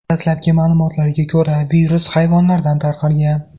Dastlabki ma’lumotlarga ko‘ra, virus hayvonlardan tarqalgan.